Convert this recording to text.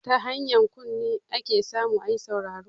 Ta hanyar kunne ake samu ayi sauraro